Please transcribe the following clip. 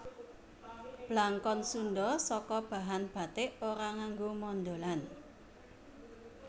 Blangkon Sundha saka bahan bathik ora nganggo mondholan